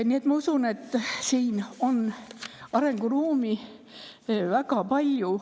Nii et ma usun, et siin on arenguruumi väga palju.